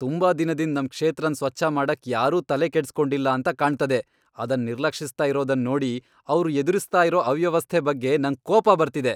ತುಂಬಾ ದಿನದಿಂದ್ ನಮ್ ಕ್ಷೇತ್ರನ್ ಸ್ವಚ್ಛ ಮಾಡಕ್ ಯಾರೂ ತಲೆ ಕೆಡ್ಸಿ ಕೊಂಡಿಲ್ಲ ಅಂತ ಕಾಣ್ತದೆ ಅದನ್ ನಿರ್ಲಕ್ಷಿಸ್ತ ಇರೋದನ್ ನೋಡಿ ಅವ್ರು ಎದುರಿಸ್ತಾ ಇರೋ ಅವ್ಯವಸ್ಥೆ ಬಗ್ಗೆ ನಂಗ್ ಕೋಪ ಬರ್ತಿದೆ. .